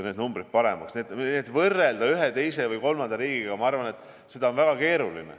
Nii et ma arvan, et väga keeruline on ennast võrrelda ühe, teise või kolmanda riigiga.